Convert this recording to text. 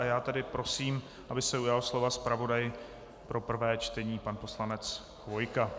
A já tedy prosím, aby se ujal slova zpravodaj pro prvé čtení pan poslanec Chvojka.